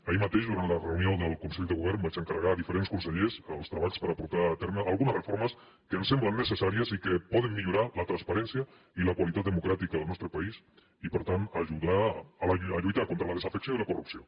ahir mateix durant la reunió del consell de govern vaig encarregar a diferents consellers els treballs per portar a terme algunes reformes que em semblen necessàries i que poden millorar la transparència i la qualitat democràtica del nostre país i per tant ajudar a lluitar contra la desafecció i la corrupció